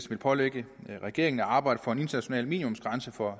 vil pålægge regeringen at arbejde for en international minimumsgrænse for